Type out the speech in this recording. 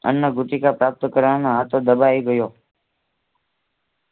અન્નભૂતિકા પ્રાપ્ત કરવામાં હાથો દબાય ગયો.